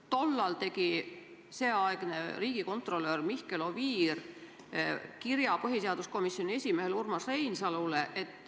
Tollal koostas seeaegne riigikontrolör Mihkel Oviir kirja põhiseaduskomisjoni esimehele Urmas Reinsalule.